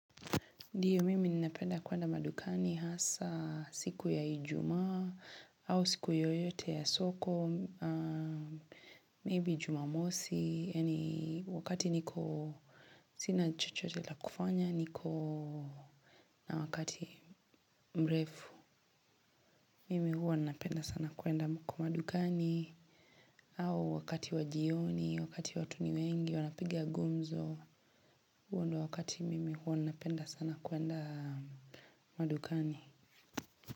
Ndiyo mimi ninapenda kuenda madukani hasa siku ya ijumaa au siku yoyote ya soko, maybe jumamosi, wakati niko sina chochote la kufanya, niko na wakati mrefu, mimi huwa ninapenda sana kuenda madukani au wakati wa jioni, wakati watu ni wengi, wanapiga gumzo, huo ndo wakati mimi huwa ninapenda sana kuenda madukani.